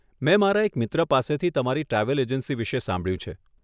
મેં મારા એક મિત્ર પાસેથી તમારી ટ્રાવેલ એજન્સી વિશે સાંભળ્યું છે.